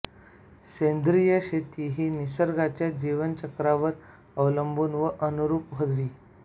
सेंद्रिय शेती ही निसर्गाच्या जीवनचक्रावर अवलंबून व अनुरूप हवी